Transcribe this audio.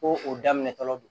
Ko o daminɛtɔ don